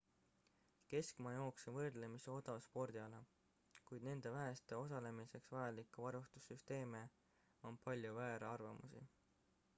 keskmaajooks on võrdlemisi odav spordiala kuid nende väheste osalemiseks vajalike varustusesemete on palju väärarvamusi